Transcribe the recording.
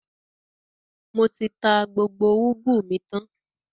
Mo ti tà gbogbo ugwu mi tan